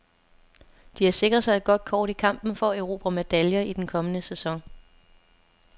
De har sikret sig et godt kort i kampen for at erobre medaljer i den kommende sæson.